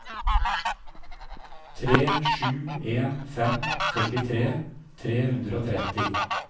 tre sju en fem førtitre tre hundre og tretti